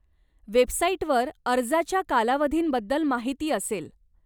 वेबसाईटवर अर्जाच्या कालावधींबद्दल माहिती असेल.